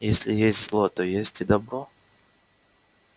если есть зло то есть и добро